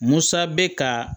Musa bɛ ka